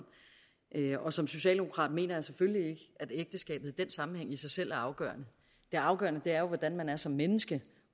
og som socialdemokrat mener jeg selvfølgelig ikke at ægteskabet i den sammenhæng i sig selv er afgørende det afgørende er jo hvordan man er som menneske